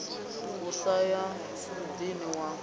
a sa ye muḓini wa